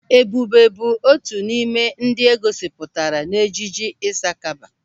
Ebube bụ otu n'ime ndị e gosipụtara n'ejije Ịsakaba.